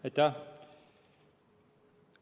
Aitäh!